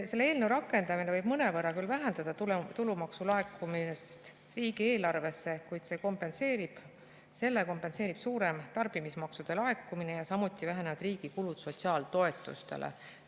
Selle eelnõu rakendamine võib mõnevõrra küll vähendada tulumaksu laekumist riigieelarvesse, kuid selle kompenseerib suurem tarbimismaksude laekumine ja samuti vähenevad riigi kulud sotsiaaltoetustele.